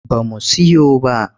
Ba mu siyo ba.